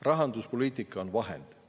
Rahanduspoliitika on vahend.